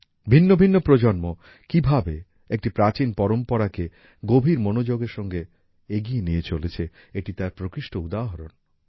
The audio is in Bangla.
ভিন্ন ভিন্ন প্রজন্ম কিভাবে একটি প্রাচীন পরম্পরাকে গভীর মনোযোগের সঙ্গে এগিয়ে নিয়ে চলেছে এটি তার প্রকৃষ্ট উদাহরণ